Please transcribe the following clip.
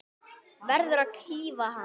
Verður að klífa hann.